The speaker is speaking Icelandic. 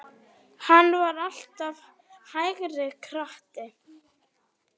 Pikkið deigið með gaffli.